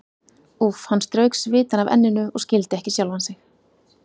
Úff, hann strauk svitann af enninu og skildi ekki sjálfan sig.